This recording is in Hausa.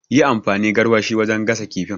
Yi amfani garwashi wajen gasa kifin